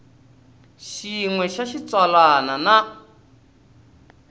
xin we xa xitsalwana na